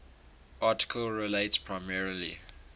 article relates primarily